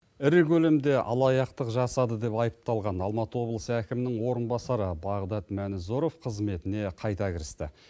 ірі көлемде алаяқтық жасады деп айыпталған алматы облысы әкімнің орынбасары бағдат манзоров қызметіне қайта кірісті